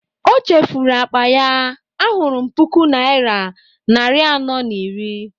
o chefuru akpa ya, ahụrụm puku naira nari anọ na iri